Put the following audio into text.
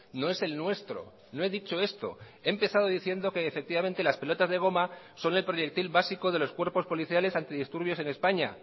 no esel nuestro no he dicho esto he empezado diciendo que efectivamente las pelotas de goma son el proyectil básico de los cuerpos policiales antidisturbios en españa